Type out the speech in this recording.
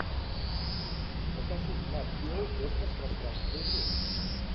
покажи нат гео космос пространство и время